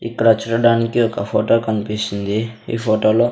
ఇక్కడ చూడడానికి ఒక ఫోటో కనిపిస్తుంది ఈ ఫోటో లో.